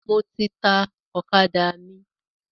Mo ti ta ọ̀kadà mi.